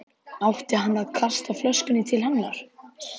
Átti hann að kasta flöskunni til hennar?